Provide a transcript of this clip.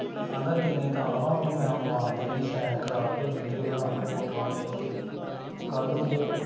ਤੇ ਐਨਦਾ ਦੇਣੇ ਤਾਂ ਵਾ ਉਹਦੀ ਮਾਂ ਦੇ ਵੀ ਮੈਂ ਸੈਨ ਕਰਾਕੇ video ਬਣਾ ਕੇ ਫੋਟੋਆਂ ਖਿੱਚ ਕੇ ਕੱਲ ਨੂੰ ਜੇ